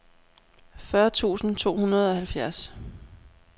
fyrre tusind to hundrede og halvfjerds